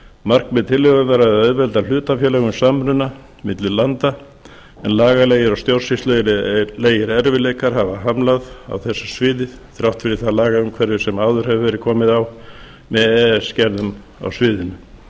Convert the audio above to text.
markmið tillögunnar er að auðvelda hlutafélögum samruna milli landa en lagalegir og stjórnsýslulegir erfiðleikar hafa hamlað á þessu sviði þrátt fyrir það lagaumhverfi sem áður hefur verið komið á með e e s gerðum á sviðinu